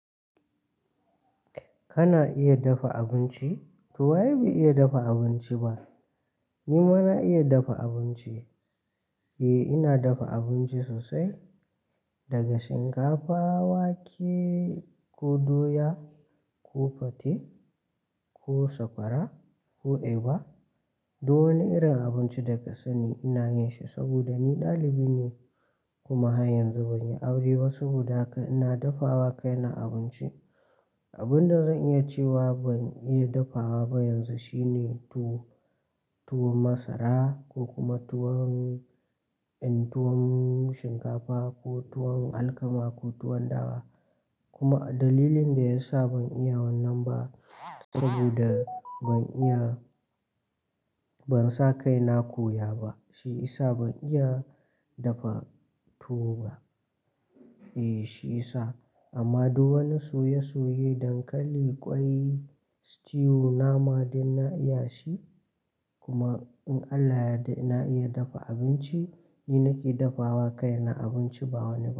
Kana iya dafa abinci? To waye bai iya dafa abinci ba. Ni ma na iya dafa abinci. Eh, ina dafa abinci sosai, daga shinkafa, wake ko doya ko fate ko sakwara ko eba. Duk wani irin abinci da ka sani ina yin shi saboda ni ɗalibi ne kuma har yanzu ban yi aure ba saboda haka ina dafa wa kaina abinci. Abin da zan iya cewa ban iya dafawa ba yanzu shine tuwo, tuwon masara ko kuma tuwon, tuwon shinkafa ko tuwon alkama ko tuwon dawa. Kuma dalilin da yasa ban iya wannan ba saboda ban iya, ban sa kai na koya ba, shi ya sa ban iya dafa tuwo ba. Eh, shi ya sa. Amma duk wani soye-soye, dankali, kwai, stew, nama duk na iya shi. Kuma in Allah ya yarda ina iya dafa abinci, ni nake dafa wa kaina abinci ba wani ba.